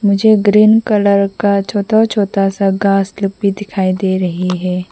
मुझे green colour का छोटा छोटा सा घास लोग भी दिखाई दे रही है।